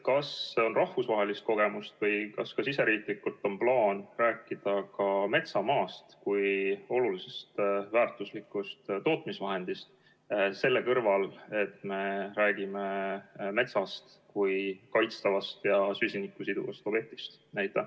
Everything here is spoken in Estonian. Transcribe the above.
Kas on rahvusvahelist kogemust või kas riigisiseselt on plaan rääkida ka metsamaast kui olulisest väärtuslikust tootmisvahendist selle kõrval, et me räägime metsast kui kaitstavast ja süsinikku siduvast objektist?